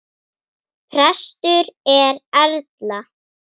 Prestur er Erla.